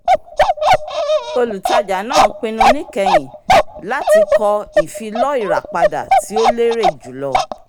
olùtajà náà pinnu níkẹyin láti kọ ìfilọ́ ìràpadà tí ó lérè jùlọ.